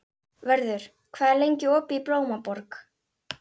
Vörður, hvað er lengi opið í Blómaborg?